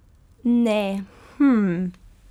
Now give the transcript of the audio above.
Ne, hmmm.